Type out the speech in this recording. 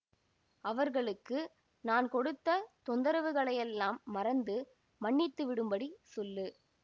அவர்களுக்கு நான் கொடுத்த தொந்தரவுகளையெல்லாம் மறந்து மன்னித்துவிடும்படி சொல்லு